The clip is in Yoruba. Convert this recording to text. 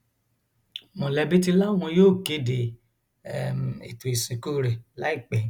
mọlẹbí ti láwọn yóò kéde um ètò ìsìnkú rẹ láìpẹ